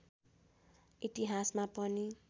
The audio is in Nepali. इतिहासमा पनि